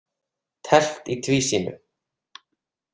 Teflt í tvísýnu.